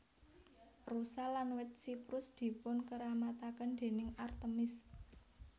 Rusa lan wit siprus dipunkeramataken déning Artemis